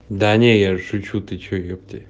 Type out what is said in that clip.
да нет я же шучу ёпте